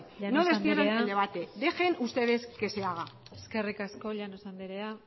llanos andrea no destierren el debate dejen ustedes que se haga eskerrik asko llanos andrea